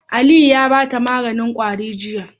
Aliyu ya bata maganin kwarin jiya